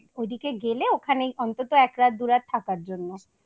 ওখানে ওদিকে গেলে ওখানে অন্তত একরাত দুরাত থাকার জন্য।